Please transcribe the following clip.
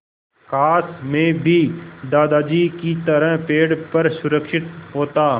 काश मैं भी दादाजी की तरह पेड़ पर सुरक्षित होता